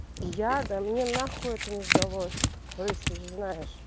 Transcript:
я да мне нахуй это не сдалось рысь ты же знаешь